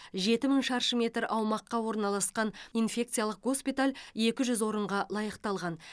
жеті мың шаршы метр аумаққа орналасқан инфекциялық госпиталь екі жүз орынға лайықталған